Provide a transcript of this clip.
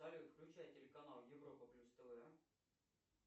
салют включай телеканал европа плюс тв